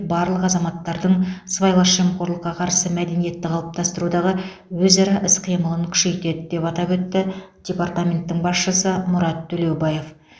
барлық азаматтардың сыбайлас жемқорлыққа қарсы мәдениетті қалыптастырудағы өзара іс қимылын күшейтеді деп атап өтті департаменттің басшысы мұрат төлеубаев